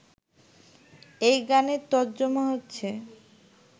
এই গানের তর্জমা হচ্ছে